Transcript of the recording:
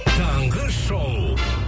таңғы шоу